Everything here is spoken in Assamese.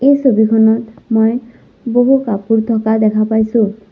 এই ছবিখনত মই বহু কাপোৰ থকা দেখা পাইছোঁ।